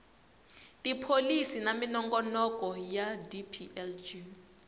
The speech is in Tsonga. tipholisi na minongonoko ya dplg